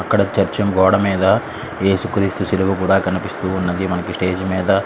అక్కడ చర్చి గోడ మీద ఏసుక్రీస్తు సిలువ కూడా కనిపిస్తోంది. మనకి స్టేజ్ మీద --